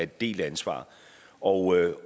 delt ansvar og